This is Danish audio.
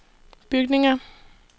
bygninger